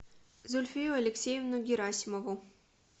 зульфию алексеевну герасимову